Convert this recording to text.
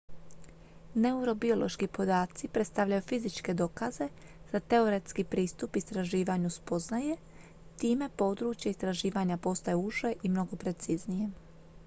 neurobiološki podaci predstavljaju fizičke dokaze za teoretski pristup istraživanju spoznaje time područje istraživanja postaje uže i mnogo preciznije